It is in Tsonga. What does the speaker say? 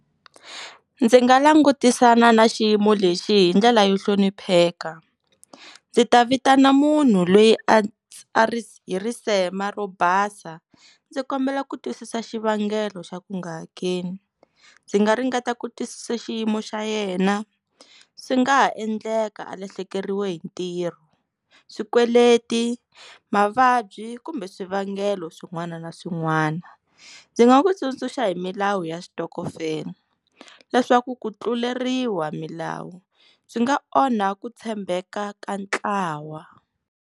Ndzi nga langutisana na xiyimo lexi hi ndlela yo hlonipheka ndzi ta vitana munhu lweyi a ri hi risema ro basa ndzi kombela ku twisisa xivangelo xa ku nga hakeli ndzi nga ringeta ku twisisa xiyimo xa yena swi nga ha endleka a lahlekeriwe hi ntirho swikweleti mavabyi kumbe swivangelo swin'wana na swin'wana ndzi nga ku tsundzuxa hi milawu ya switokofela leswaku ku tluleriwa milawu swi nga onha ku tshembeka ka ntlawa.